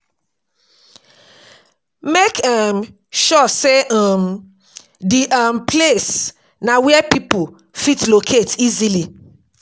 Make um sure sey um di um place na where pipo fit locate easily